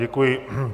Děkuji.